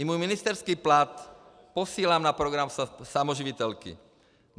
I můj ministerský plat posílám na program samoživitelky.